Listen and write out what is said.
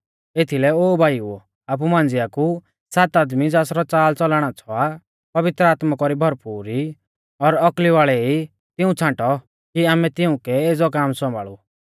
एथीलै ओ भाईओ आपु मांझ़िया कु सात आदमी ज़ासरौ च़ालच़लण आच़्छ़ौ आ पवित्र आत्मा कौरी भरपूर ई और औकली वाल़ै ई तिऊं छ़ांटौ कि आमै तिउंकै एज़ौ काम सौम्भाल़ु